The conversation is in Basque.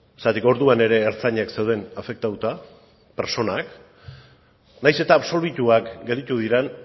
zergatik orduan ere ertzainak zeuden afektatuta pertsonak nahiz eta absolbituak gelditu diren